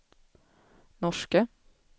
norska